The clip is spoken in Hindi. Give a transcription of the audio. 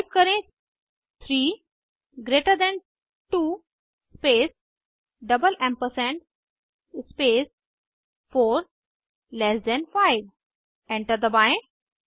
टाइप करें 3 greater than 2 space double ampersand space 4 less than 5 enter दबाएं